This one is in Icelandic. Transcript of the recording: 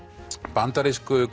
bandarísku